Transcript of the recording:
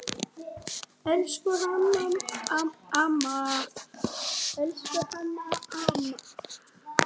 Elsku Hanna amma.